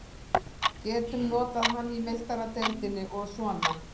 Getum notað hann í Meistaradeildinni og svona.